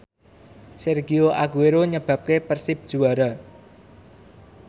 Sergio Aguero nyebabke Persib juara